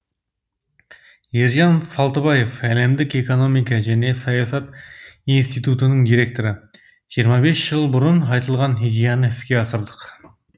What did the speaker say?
ержан салтыбаев әлемдік экономика және саясат институтының директоры жиырма бес жыл бұрын айтылған идеяны іске асырдық